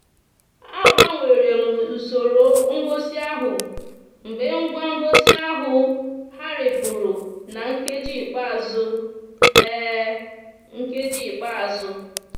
a gbanwere m usoro ngosi ahụ mgbe ngwa ngosi ahụ gharipụrụ na nkeji ikpeazụ. nkeji ikpeazụ.